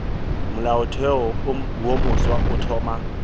molaotheo wo mofsa o thoma